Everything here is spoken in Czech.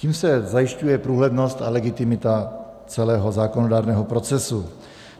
Tím se zajišťuje průhlednost a legitimita celého zákonodárného procesu.